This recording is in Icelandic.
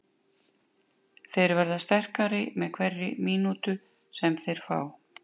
Þeir verða sterkari með hverri mínútu sem þeir fá.